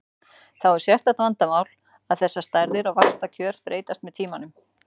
Þá er sérstakt vandamál að þessar stærðir og vaxtakjör breytast með tímanum.